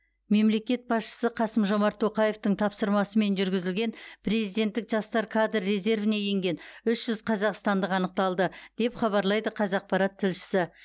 мемлекет басшысы қасым жомарт тоқаевтың тапсырмасымен жүргізілген президенттік жастар кадр резервіне енген үш жүз қазақстандық анықталды деп хабарлайды қазақпарат тілшісі